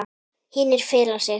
Hinir fela sig.